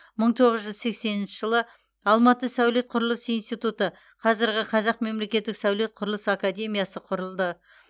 мың тоғыз жүз сексенінші жылы алматы сәулет құрылыс институты қазіргі қазақ мемлекеттік сәулет құрылыс академиясы құрылды